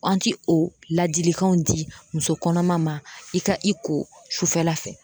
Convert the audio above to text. An ti ko ladilikanw di muso kɔnɔma ma, i ka i ko sufɛla fɛ